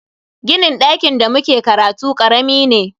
Ginin dakin da muke karatu karami ne.